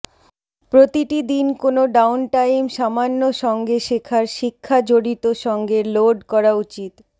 প্রতিটি দিন কোন ডাউনটাইম সামান্য সঙ্গে শেখার শিক্ষা জড়িত সঙ্গে লোড করা উচিত